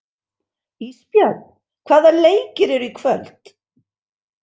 Ísbjörn, hvaða leikir eru í kvöld?